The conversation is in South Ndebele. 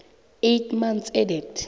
eight months ended